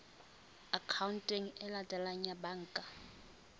akhaonteng e latelang ya banka